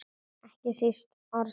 Ekki síst Örnólf.